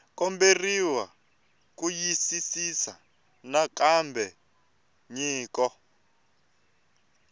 komberiwa ku xiyisisisa nakambe nyiko